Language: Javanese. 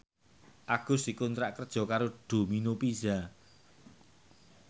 Agus dikontrak kerja karo Domino Pizza